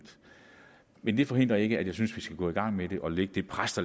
men det forhindrer ikke at jeg synes vi skal gå i gang med det og lægge det pres